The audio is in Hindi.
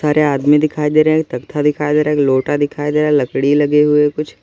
सारे आदमी दिखाई दे रहे हैं तख्ता दिखाई दे रहा एक लौटा दिखाई दे रहा है लकड़ी लगे हुए है कुछ।